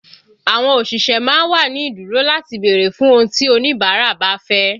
Àwọn òṣìṣẹ́ má ń wà ní ìdúró láti bèrè fún ohun tí oníbàárà bá fẹ́